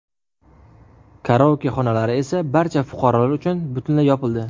Karaoke xonalari esa barcha fuqarolar uchun butunlay yopildi.